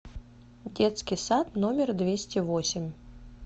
детский сад номер двести восемь